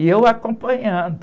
E eu acompanhando.